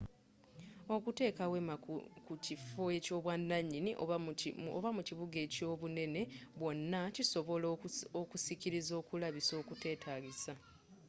okuteka weema ku kifo eky'obwananyini oba mu kibuga ekyobunene bwonna kisobola okusikiriza okulabisa okutetagisa